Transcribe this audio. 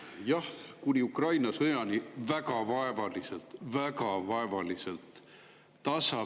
Jah, kuni Ukraina sõjani väga vaevaliselt – väga vaevaliselt!